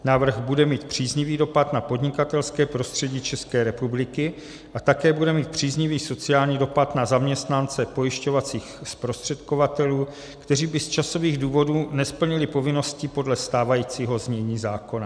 Návrh bude mít příznivý dopad na podnikatelské prostředí České republiky a také bude mít příznivý sociální dopad na zaměstnance pojišťovacích zprostředkovatelů, kteří by z časových důvodů nesplnili povinnosti podle stávajícího znění zákona.